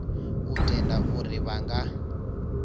u tenda uri vha nga